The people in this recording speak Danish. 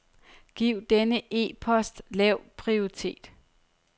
Giv denne e-post lav prioritet.